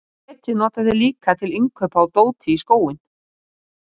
Netið nota þeir líka til innkaupa á dóti í skóinn.